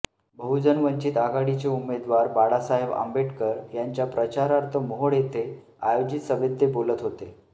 बहुजन वंचित आघाडीचे उमेदवार बाळासाहेब आंबेडकर यांच्या प्रचारार्थ मोहोळ येथे आयोजित सभेत ते बोलत होते